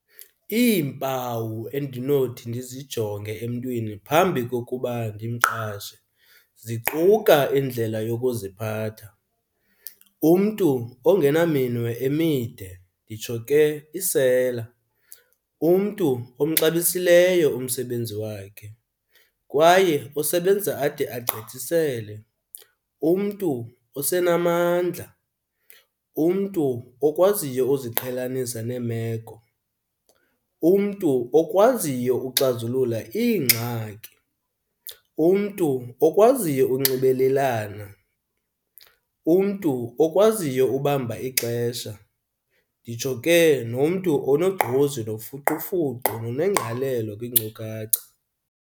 Iimpawu endinothi ndizijonge emntwini phambi kokuba ndimqashe ziquka indlela yokuziphatha, umntu ongena minwe emide nditsho ke isela, umntu omxabisileyo umsebenzi wakhe kwaye osebenza ade agqithisele, umntu osenamandla, umntu okwaziyo uziqhelanisa neemeko. Umntu okwaziyo uxazulula iingxaki, umntu okwaziyo unxibelelana, umntu okwaziyo ubamba ixesha nditsho ke nomntu onogqozi nofuqufuqu nonengqalelo kwiinkcukacha.